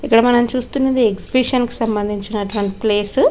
ఇక్కడ మన చూస్తున్నది ఎక్సిబిషన్ సంభందించినటువంటి ప్లేసు .